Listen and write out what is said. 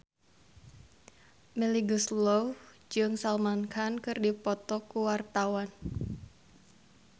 Melly Goeslaw jeung Salman Khan keur dipoto ku wartawan